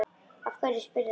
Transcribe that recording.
Af hverju spyrðu að því?